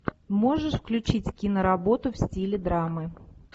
можешь включить киноработу в стиле драмы